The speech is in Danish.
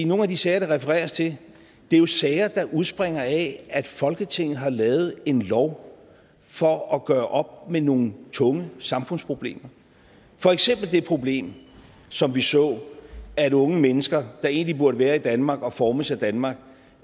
nogle af de sager der refereres til er jo sager der udspringer af at folketinget har lavet en lov for at gøre op med nogle tunge samfundsproblemer for eksempel det problem som vi så at unge mennesker der egentlig burde være i danmark og formes af danmark